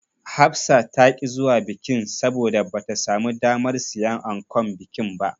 Hafsa ta ƙi zuwa bikin, saboda bata samu damar siyan ankon bikin ba.